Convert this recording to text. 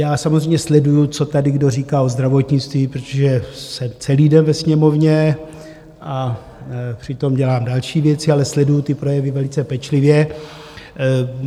Já samozřejmě sleduji, co tady kdo říká o zdravotnictví, protože jsem celý den ve Sněmovně a přitom dělám další věci, ale sleduji ty projevy velice pečlivě.